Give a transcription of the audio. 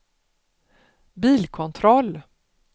bilkontroll